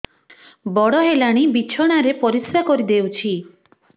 ବଡ଼ ହେଲାଣି ବିଛଣା ରେ ପରିସ୍ରା କରିଦେଉଛି